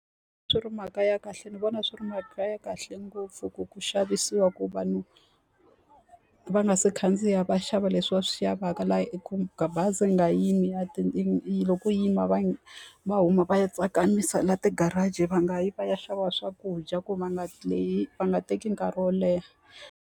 Swi ri mhaka ya kahle ni vona swi ri mhaka ya kahle ngopfu ku ku xavisiwa ku vanhu va nga si khandziya va xava leswi va swi lavaka, laha bazi ni nga yimi loko yi yima va va huma va ya tsakamisa laha ti-garage. Va nga yi va ya xava swakudya ku va nga va nga teki nkarhi wo leha.